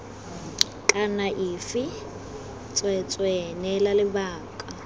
kana afe tsweetswee neela lebaka